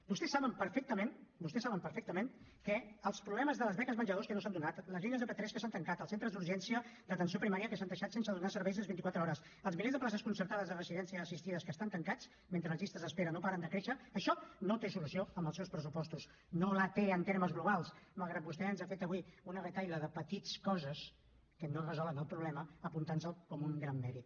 vostès saben perfectament vostès saben perfectament que els problemes de les beques menjador que no s’han donat les línies de p3 que s’han tancat els centres d’urgència d’atenció primària que s’han deixat sense donar servei les vint i quatre hores els milers de places concertades de residències assistides que estan tancats mentre les llistes d’espera no paren de créixer això no té solució amb els seus pressupostos no la té en termes globals malgrat que vostè ens ha fet avui un reguitzell de petites coses que no resolen el problema apuntant nos el com un gran mèrit